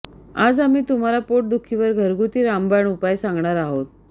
आज आम्ही तुम्हाला पोट दुखीवर घरगुती रामबाण उपाय सांगणार आहोत